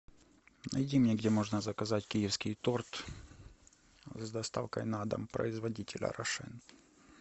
найди мне где можно заказать киевский торт с доставкой на дом производителя рошен